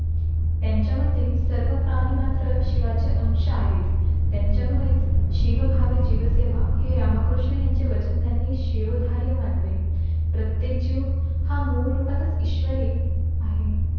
त्यांच्या मते सर्व प्राणी मात्र शिवाचे अंश आहेत, त्यांच्यामुळेच शिवभाव जीवसेवा हे रामकृष्ण यांचे वाचन त्यांनी शिवधरी मानले. प्रत्येक जीव हा मूळ रूपातच ईश्वरी आहे.